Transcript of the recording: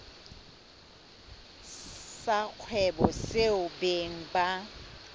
sa kgwebo seo beng ba